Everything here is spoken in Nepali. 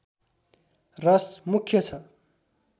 रस मुख्य छ